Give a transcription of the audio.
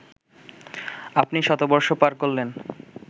আপনি শতবর্ষ পার করলেন